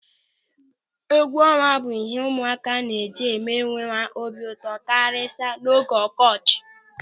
Egwuọnwa bụ ịhe ụmụaka na-eji eme onwe ha obi ụtọ kachasị n'oge ọkọchị.